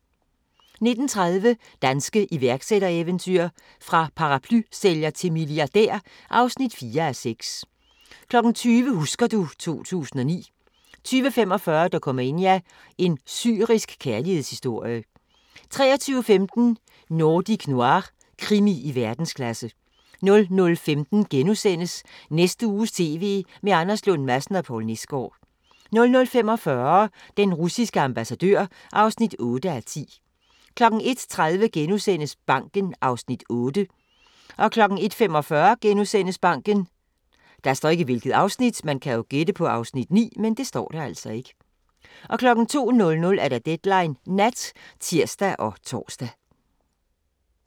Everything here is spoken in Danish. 19:30: Danske iværksættereventyr – fra paraplysælger til milliardær (4:6) 20:00: Husker du ... 2009 20:45: Dokumania: En syrisk kærlighedshistorie 23:15: Nordic Noir – krimi i verdensklasse 00:15: Næste uges TV med Anders Lund Madsen og Poul Nesgaard * 00:45: Den russiske ambassadør (8:10) 01:30: Banken (Afs. 8)* 01:45: Banken * 02:00: Deadline Nat (tir og tor)